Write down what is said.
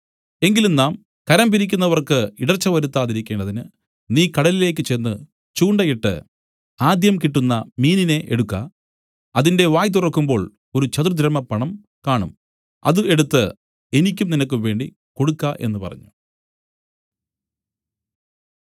എങ്കിലും നാം കരം പിരിക്കുന്നവർക്ക് ഇടർച്ച വരുത്താതിരിക്കേണ്ടതിന് നീ കടലിലേക്ക് ചെന്ന് ചൂണ്ട ഇട്ട് ആദ്യം കിട്ടുന്ന മീനിനെ എടുക്ക അതിന്റെ വായ് തുറക്കുമ്പോൾ ഒരു ചതുർദ്രഹ്മപ്പണം കാണും അത് എടുത്ത് എനിക്കും നിനക്കും വേണ്ടി കൊടുക്ക എന്നു പറഞ്ഞു